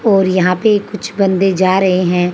और यहां पे कुछ बंदे जा रहे हैं।